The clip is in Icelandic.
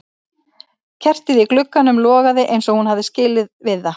Kertið í glugganum logaði eins og hún hafði skilið við það.